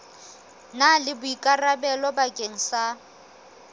na le boikarabelo bakeng sa